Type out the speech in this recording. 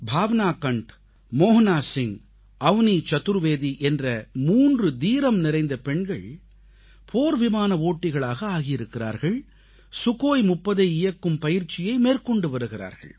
பாவனா கண்ட் மோகனா சிங் அவனீ சதுர்வேதி என்ற 3 தீரம்நிறைந்த பெண்கள் போர்விமான ஓட்டிகளாக ஆகியிருக்கிறார்கள் சுகோய் 30யை இயக்கும் பயிற்சியை மேற்கொண்டு வருகிறார்கள்